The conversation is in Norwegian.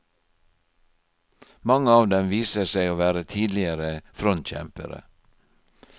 Mange av dem viser seg å være tidligere frontkjempere.